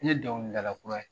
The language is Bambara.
N ye dɔnkilidala kura ye !